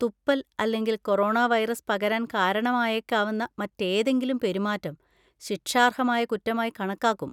തുപ്പൽ അല്ലെങ്കിൽ corona virus പകരാൻ കാരണമായേക്കാവുന്ന മറ്റേതെങ്കിലും പെരുമാറ്റം ശിക്ഷാർഹമായ കുറ്റമായി കണക്കാക്കും.